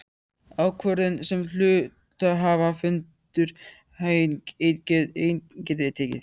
ákvörðun sem hluthafafundur einn getur tekið.